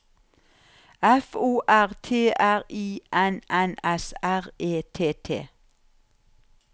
F O R T R I N N S R E T T